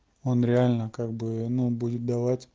он реально как бы ну будет давать